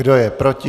Kdo je proti?